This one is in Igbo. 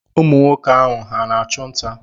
Ụmụ nwoke ahụ, ha na-achụ nta?